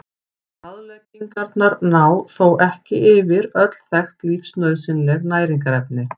Ráðleggingarnar ná þó ekki yfir öll þekkt lífsnauðsynleg næringarefni.